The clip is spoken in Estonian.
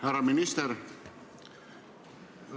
Härra minister!